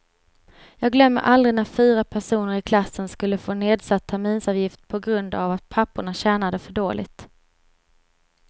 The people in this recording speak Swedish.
Jag glömmer aldrig när fyra personer i klassen skulle få nedsatt terminsavgift på grund av att papporna tjänade för dåligt.